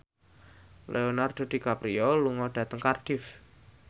Leonardo DiCaprio lunga dhateng Cardiff